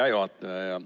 Hea juhataja!